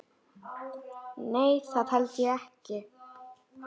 Nei það held ég ekki.